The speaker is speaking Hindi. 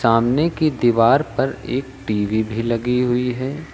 सामने की दीवार पर एक टी_वी भी लगी हुई है।